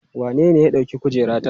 Wanene ya ɗauki kujerata?